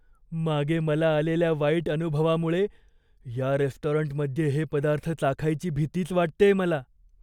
मागे मला आलेल्या वाईट अनुभवामुळे या रेस्टॉरंटमध्ये हे पदार्थ चाखायची भीतीच वाटतेय मला.